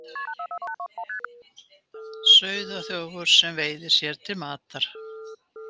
Sauðaþjófar sem veiða sér til matar